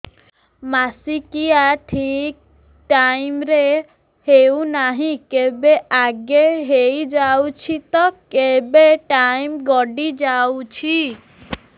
ମାସିକିଆ ଠିକ ଟାଇମ ରେ ହେଉନାହଁ କେବେ ଆଗେ ହେଇଯାଉଛି ତ କେବେ ଟାଇମ ଗଡି ଯାଉଛି